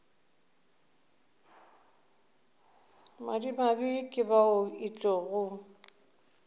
madimabe ke bao e tlogo